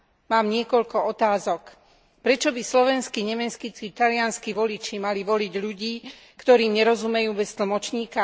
Mám niekoľko otázok Prečo by slovenskí, nemeckí, či talianski voliči mali voliť ľudí, ktorým nerozumejú bez tlmočníka?